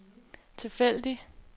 tilfældig